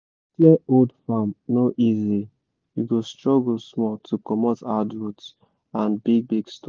clear old farm no easy you go struggle small to comot hard root and big big stone